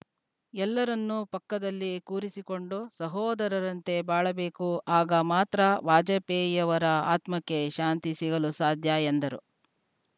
ಎಲ್ಲರನ್ನೂ ಪಕ್ಕದಲ್ಲಿ ಕೂರಿಸಿಕೊಂಡು ಸಹೋದರರಂತೆ ಬಾಳಬೇಕು ಆಗ ಮಾತ್ರ ವಾಜಪೇಯಿಯವರ ಆತ್ಮಕ್ಕೆ ಶಾಂತಿ ಸಿಗಲು ಸಾಧ್ಯ ಎಂದರು